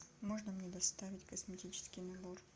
можно мне доставить косметический набор